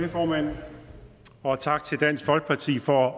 det formand og tak til dansk folkeparti for at